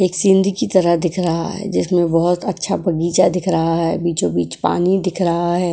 एक सीनरी की तरह दिख रहा है जिसमें बहोत अच्छा बगीचा दिख रहा है। बीचों-बीच पानी दिख रहा है।